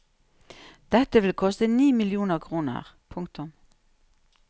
Dette vil koste ni millioner kroner. punktum